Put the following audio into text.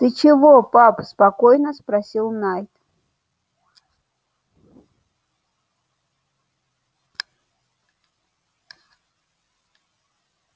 ты чего пап спокойно спросил найд